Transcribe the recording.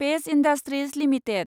page industries limited